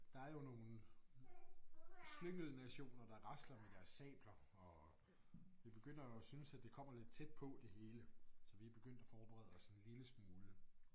Der er jo nogle slyngelnationer der rasler med deres sabler og vi begynder at synes at det kommer lidt tæt på det hele så vi er begyndt at forberede os en lille smule